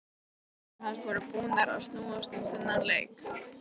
Allar hugsanir hans voru búnar að snúast um þennan leik.